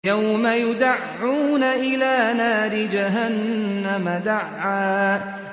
يَوْمَ يُدَعُّونَ إِلَىٰ نَارِ جَهَنَّمَ دَعًّا